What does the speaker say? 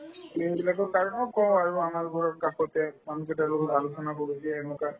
কই আৰু আমাৰ ঘৰ কাষতে মানুহকেইটাৰ লগত আলোচনা কৰো যে এনেকুৱা